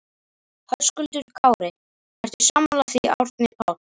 Höskuldur Kári: Ertu sammála því Árni Páll?